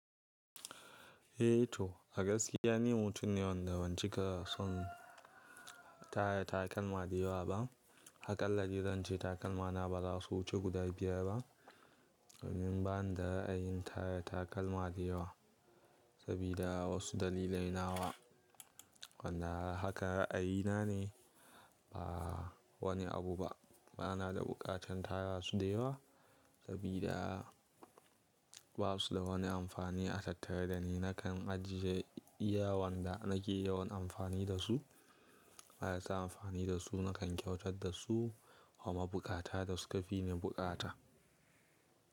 Eh to, a gaskiya ni mutum ne wanda ban cika son tara takalma da yawa ba. Hakalla ni zan ce takalmana ba za su wuce guda biyar ba. Ni ban da ra'ayin tara takalma da yawa sabida wasu dalilai nawa. Wanda haka ra'ayina ne, ba wani abu ba. Bana da buƙatar tara su da yawa sabida babu su da wani amfani a tattare da ni. Nakan ajiye iyawan da nake yawan amfani da su, marasa amfani da su nakan kyautar da su wa mabuƙata da suka fi ni buƙata.